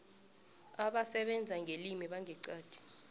abasebenza ngelimi bangeqadi